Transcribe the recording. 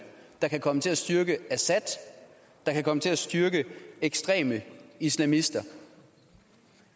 der kan komme til at styrke assad kan komme til at styrke ekstreme islamister